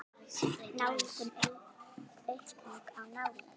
Nálgun: aukning á nálægð?